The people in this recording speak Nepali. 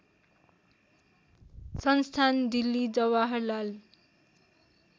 संस्थान दिल्ली जवाहरलाल